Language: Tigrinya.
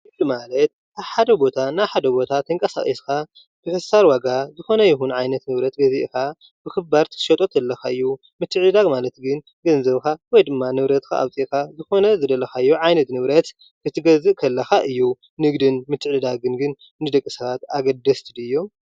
ንግዲ ማለት ካብ ሓደ ቦታ ናብ ሓደ ቦታ ተንቀሳቂስካ ብሕሳር ዋጋ ዝኮነ ይኩን ዓይነት ንብረት ገዚእካ ብክባር ክትሸጦ ከለካ እዩ፡፡ ምትዕድዳግ ማለት ግን ገንዘብካ ወይድማ ንብረትካ ኣውፂእካ ዝኮነ ዝደለካዮ ዓይነት ንብረት ክትገዝእ ከለካ እዩ፡፡ ንግድን ምትዕድዳግን ግን ንደቂ ሰባት አገዳስቲ ድዮም?